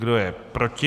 Kdo je proti?